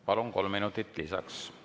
Palun, kolm minutit lisaks!